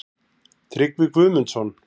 Tryggvi Guðmundsson.